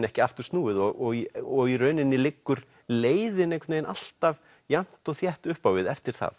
ekki aftur snúið og í og í rauninni liggur leiðin einhvern veginn alltaf jafnt og þétt upp á við eftir það